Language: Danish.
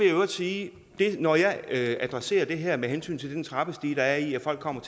i øvrigt sige at når jeg adresserer det her med hensyn til den trappestige der er i at folk kommer